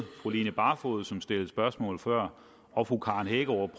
fru line barfod som stillede spørgsmål før og fru karen hækkerup